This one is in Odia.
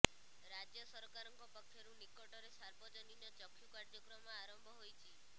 ରାଜ୍ୟ ସରକାରଙ୍କ ପକ୍ଷରୁ ନିକଟରେ ସାର୍ବଜନୀନ ଚକ୍ଷୁ କାର୍ଯ୍ୟକ୍ରମ ଆରମ୍ଭ ହୋଇଛି